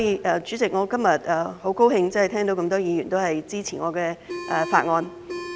代理主席，我今天很高興聽到這麼多議員支持我的法案。